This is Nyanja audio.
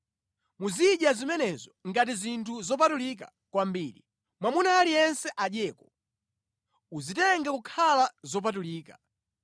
Muzidya zimenezo ngati zinthu zopatulika kwambiri; mwamuna aliyense adyeko. Uzitenge kukhala zopatulika.